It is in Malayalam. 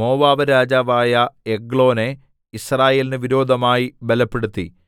മോവാബ്‌രാജാവായ എഗ്ലോനെ യിസ്രായേലിന് വിരോധമായി ബലപ്പെടുത്തി